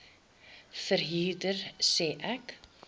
verhuurder sê ek